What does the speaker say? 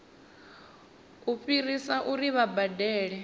u fhirisa uri vha badele